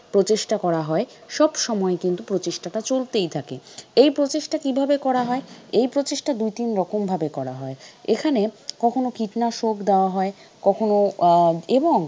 প্রচেষ্টা করা হয় সব সময় কিন্তু প্রচেষ্টা টা চলতেই থাকে এই প্রচেষ্টা কিভাবে করা হয়? এই প্রচেষ্টা দুই তিন রকম ভাবে করা হয় এখানে কখনো কীটনাশক দেওয়া হয় কখনো আহ এবং